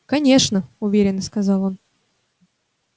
конечно уверенно сказал он